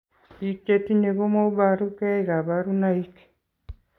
Biik chetinye komoboru kee kabarunaik